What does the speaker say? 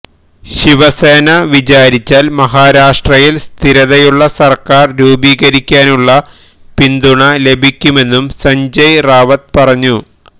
ശിവസേന വിചാരിച്ചാല് മഹാരാഷ്ട്രയില് സ്ഥിരതയുള്ള സര്ക്കാര് രൂപികരിക്കാനുള്ള പിന്തുണ ലഭിക്കുമെന്നും സഞ്ജയ് റാവത്ത് പറഞ്ഞു